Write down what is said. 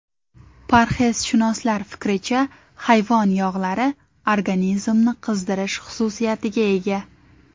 Parhezshunoslar fikricha, hayvon yog‘lari organizmni qizdirish xususiyatiga ega.